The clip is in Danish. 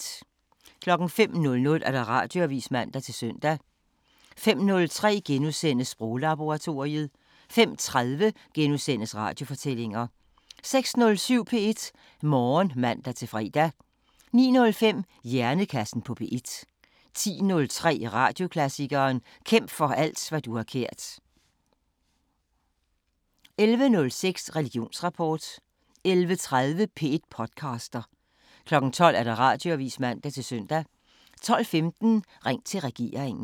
05:00: Radioavisen (man-søn) 05:03: Sproglaboratoriet * 05:30: Radiofortællinger * 06:07: P1 Morgen (man-fre) 09:05: Hjernekassen på P1 10:03: Radioklassikeren: Kæmp for alt hvad du har kært 11:06: Religionsrapport 11:30: P1 podcaster 12:00: Radioavisen (man-søn) 12:15: Ring til regeringen